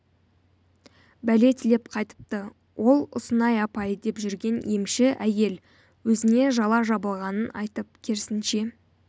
бәле тілеп қайтыпты ал ұнсынай апай деп жүрген емші әйел өзіне жала жабылғанын айтып керісінше